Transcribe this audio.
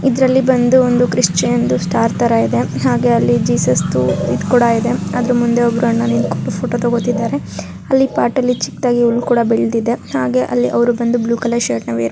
ಇದರಲ್ಲಿ ಬಂದು ಒಂದು ಕ್ರಿಶ್ಚಿಯನ್ ದು ಸ್ಟಾರ್ ತರ ಇದೆ ಹಾಗೆ ಅಲ್ಲಿ ಜೀಸಸ್ ಇದು ಕೂಡ ಇದೆ ಅದರ ಮುಂದೆ ಒಬ್ಬರ್ ಅಣ್ಣ ನಿಂತ್ಕೊಂಡು ಫೋಟೋ ತೆಗೊತಾ ಇದ್ದಾರೆ ಅಲ್ಲಿ ಪಾಟ್ಲ್ಲಿ ಚಿಕ್ಕದಾಗಿ ಹುಲ್ಕೂಡ ಬೆಳೆದಿದೆ ಹಾಗೆ ಅಲ್ಲಿ ಬಂದು ಅವರು ಬ್ಲೂ ಕಲರ್ ಶರ್ಟ್ ನ ವೇರ್ --